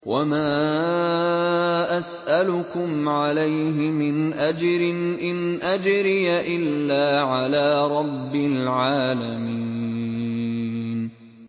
وَمَا أَسْأَلُكُمْ عَلَيْهِ مِنْ أَجْرٍ ۖ إِنْ أَجْرِيَ إِلَّا عَلَىٰ رَبِّ الْعَالَمِينَ